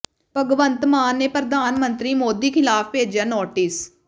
ਭਗਵੰਤ ਮਾਨ ਨੇ ਪ੍ਰਧਾਨ ਮੰਤਰੀ ਮੋਦੀ ਖਿਲਾਫ ਭੇਜਿਆ ਨੋਟਿਸ